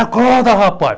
Acorda, rapaz!